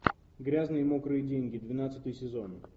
грязные мокрые деньги двенадцатый сезон